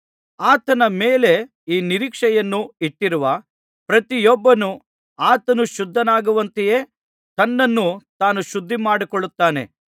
ಆತನ ಮೇಲೆ ಈ ನಿರೀಕ್ಷೆಯನ್ನು ಇಟ್ಟಿರುವ ಪ್ರತಿಯೊಬ್ಬನು ಆತನು ಶುದ್ಧನಾಗಿರುವಂತೆಯೇ ತನ್ನನ್ನು ತಾನು ಶುದ್ಧಿಮಾಡಿಕೊಳ್ಳುತ್ತಾನೆ